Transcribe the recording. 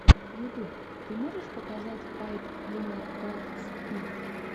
ютуб ты можешь показать пайп клинер крафтс би